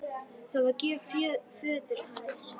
Það var gjöf föður hans.